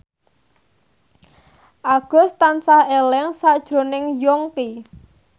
Agus tansah eling sakjroning Yongki